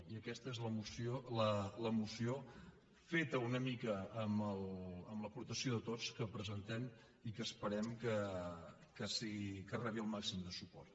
i aquesta és la moció feta una mica amb l’aportació de tots que presentem i que esperem que rebi el màxim de suport